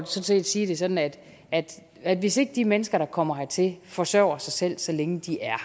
set sige det sådan at at hvis ikke de mennesker der kommer hertil forsørger sig selv så længe de er